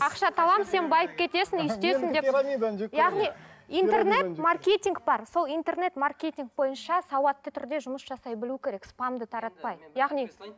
ақша табамын сен байып кетесің өйстесің деп яғни интернет маркетинг бар сол интернет маркетинг бойынша сауатты түрде жұмыс жасай білу керек спамды таратпай яғни